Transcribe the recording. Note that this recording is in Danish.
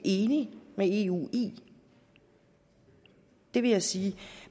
enige med eu i vil jeg sige